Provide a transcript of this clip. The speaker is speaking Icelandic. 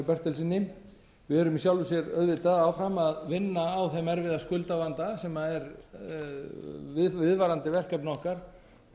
bertelssyni við erum í sjálfu sér auðvitað áfram að vinna á þeim erfiða skuldavanda sem er viðvarandi verkefni okkar